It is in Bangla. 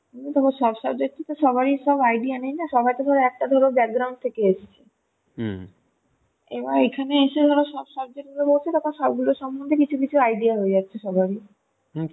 কিন্তু তোমার সব subject এ তো সবারই সব idea নেই না , সবার সবাই তো ধরো একটা থেকে এসেছে এবার এখানে এসে ধরো সব subject গুলো ধরছে ধরে কিছু কিছু idea হয়ে যাচ্ছে সবার ই